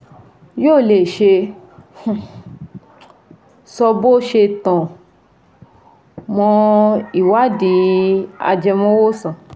Yóò lè ṣe um sọ bó ṣe tan mọ́ ìwádìí ajẹmọ́wòsàn